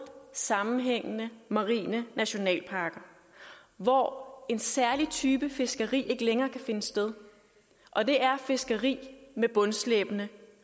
sammenhængende marine nationalparker hvor en særlig type fiskeri ikke længere kan finde sted og det er fiskeri med bundslæbende